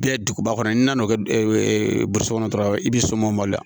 Biɲɛ duguba kɔnɔ n'i nan'o kɛ burusi kɔnɔ dɔrɔn i bɛ soman ba de